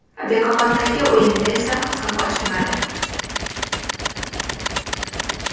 Bekoboddagi o‘yinda esa hisob ochilmadi.